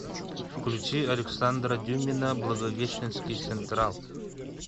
включи александра дюмина благовещенский централ